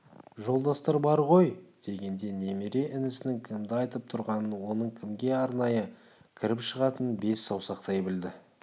жолдастар бар ғой дегенде немере інісінің кімді айтып тұрғанын оның кімге арнайы кіріп шығатынын бес саусақтай білді